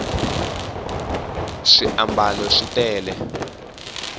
swiambalo swi tele